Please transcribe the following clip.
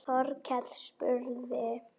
Þórkell spurði